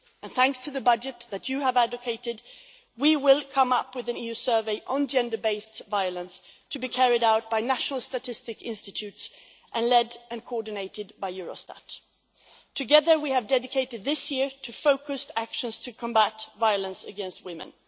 Thanks to the budget that you have advocated, we will come up with an EU survey on gender based violence, to be carried out by national statistics institutes and led and coordinated by Eurostat. Together, we have dedicated this year to focused actions to combat violence against women.